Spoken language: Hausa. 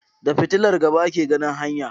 Da Fitilar gaba ake ganin hanya